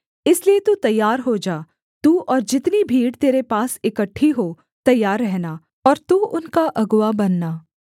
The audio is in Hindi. इसलिए तू तैयार हो जा तू और जितनी भीड़ तेरे पास इकट्ठी हों तैयार रहना और तू उनका अगुआ बनना